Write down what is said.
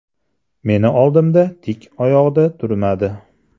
Meni oldimda tik oyoqda turmadi.